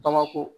Bamakɔ